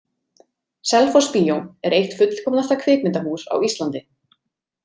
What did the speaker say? Selfossbíó er eitt fullkomnasta kvikmyndahús á Íslandi.